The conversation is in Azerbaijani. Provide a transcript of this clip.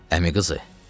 Əmi qızı,